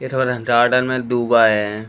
इस गार्डन में धुप आये हैं।